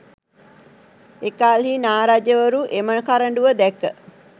එකල්හි නා රජවරු එම කරඬුව දැක